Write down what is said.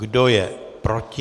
Kdo je proti?